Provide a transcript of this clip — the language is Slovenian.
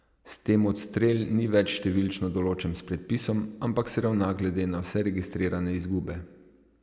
S tem odstrel ni več številčno določen s predpisom, ampak se ravna glede na vse registrirane izgube.